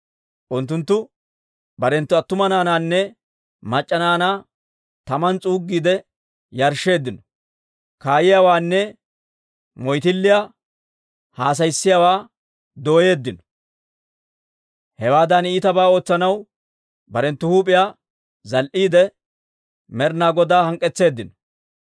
Unttunttu barenttu attuma naanaanne mac'c'a naanaa taman s'uuggiide yarshsheeddino. Kaayiyaawaanne moyttilliyaa haasayissiyaawaa doyeeddino. Hewaadan iitabaa ootsanaw barenttu huup'iyaa zal"iidde, Med'ina Godaa hank'k'etseeddino.